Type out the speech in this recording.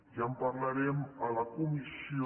ja en parlarem a la comissió